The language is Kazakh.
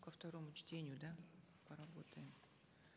ко второму чтению да поработаем